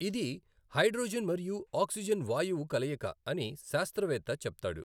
ఇది హైడ్రోజన్ మరియు ఆక్సిజన్ వాయువు కలయిక అని శాస్త్రవేత్త చెప్తాడు.